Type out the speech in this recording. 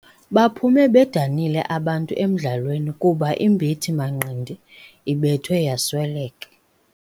Baphume bedanile abantu emdlalweni kuba imbethi-manqindi ibethwe yasweleka.